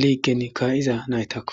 liigen kaa'iza naytakko.